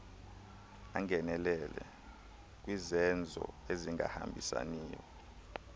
angenelele kwizenzo ezingahambisaniyo